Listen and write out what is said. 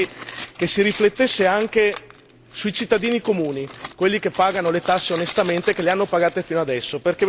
Tuttavia vorrei che si riflettesse anche sui cittadini comuni, quelli che pagano le tasse onestamente e che le hanno pagate fino ad ora.